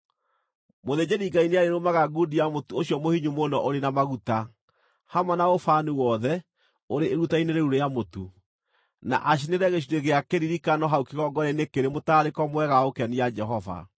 Mũthĩnjĩri-Ngai nĩarĩrũmaga ngundi ya mũtu ũcio mũhinyu mũno ũrĩ na maguta, hamwe na ũbani wothe ũrĩ iruta-inĩ rĩu rĩa mũtu, na acinĩre gĩcunjĩ gĩa kĩririkano hau kĩgongona-inĩ kĩrĩ mũtararĩko mwega wa gũkenia Jehova.